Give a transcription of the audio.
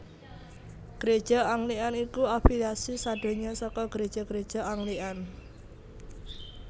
Gréja Anglikan iku afiliasi sadonya saka Gréja gréja Anglikan